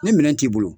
Ni minɛn t'i bolo